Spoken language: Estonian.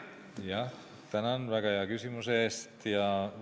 Tänan väga hea küsimuse eest!